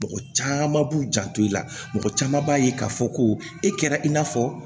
Mɔgɔ caman b'u janto i la mɔgɔ caman b'a ye k'a fɔ ko e kɛra i n'a fɔ